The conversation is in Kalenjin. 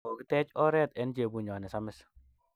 Kokitech oret enchebunyo ne samis